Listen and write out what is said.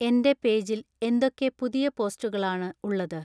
എന്‍റെ പേജിൽ എന്തൊക്കെ പുതിയ പോസ്റ്റുകളാണ് ഉള്ളത്